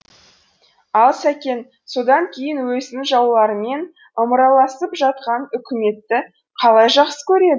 ал сәкен содан кейін өзінің жауларымен ымыраласып жатқан үкіметті қалай жақсы көреді